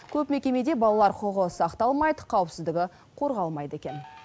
көп мекемеде балалар құқығы сақталмайды қауіпсіздігі қорғалмайды екен